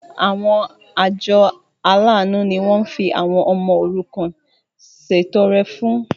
Àwọn àjọ aláàánú ni wọ́n fi àwọn ọmọ òrukàn ṣètọrẹ fún.